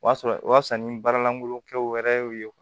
O y'a sɔrɔ o y'a sɔrɔ ni baara lankolonkɛw wɛrɛ y'u ye